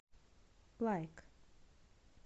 лайк